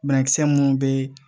Banakisɛ minnu bɛ